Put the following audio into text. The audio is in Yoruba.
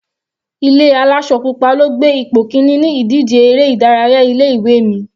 Ilé aláṣọ pupa ló gbé ipò kíní ní ìdíje eré ìdárayá ilé ìwé mi.